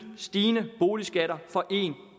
stigende boligskatter for en